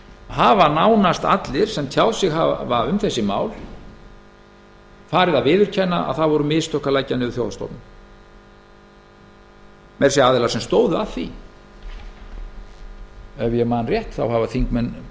hafa nánast allir sem hafa tjáð sig um þessi mál farið að viðurkenna að það voru mistök að leggja þjóðhagsstofnun niður meira að segja aðilar sem stóðu að því ef ég man rétt þá hafa þingmenn